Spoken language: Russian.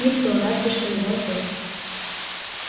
никто разве что его отец